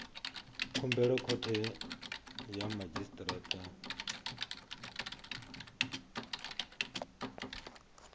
khumbelo khothe ya madzhisi ṱira